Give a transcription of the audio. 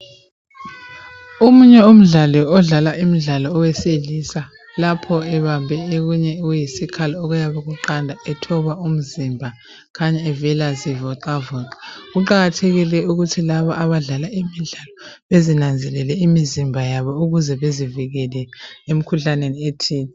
Omunye umdlali odlala imidlalo owesilisa lapho ebambe okunye okuyisikhali okuyabe kuqanda etoba umzimba, kukhanya evela zivoxavoxa. Kuqakathekile ukuthi laba abadlala imidlalo bezinakekele imizimba yabo ukjze bezivikele emkhuhlaneni ethile.